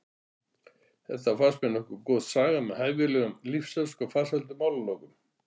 Þetta fannst mér nokkuð góð saga með hæfilegum lífsháska og farsælum málalokum.